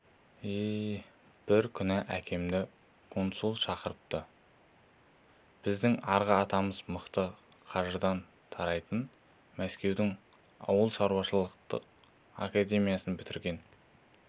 еее бір күні әкемді консул шақырыпты біздің арғы атамыз мақы қажыдан тарайтын мәскеудің ауылшаруашылық академиясын бітірген